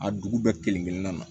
A dugu bɛɛ kelen kelenna na